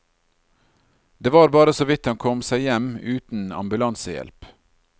Det var bare såvidt han kom seg hjem uten ambulansehjelp.